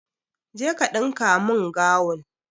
Je ka dinka mun gawun!